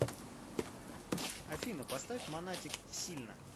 афина поставь монатик сильно